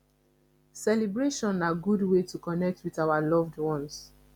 celebration na good way to connect with our loved ones